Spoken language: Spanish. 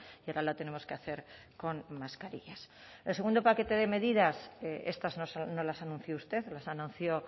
y ahora la tenemos que hacer con mascarillas el segundo paquete de medidas estas no las anunció usted las anunció